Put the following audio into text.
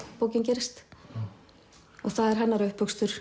bókin gerist og það er hennar